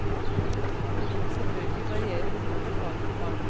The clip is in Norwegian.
Dette vil selvfølgelig variere noe fra fag til fag.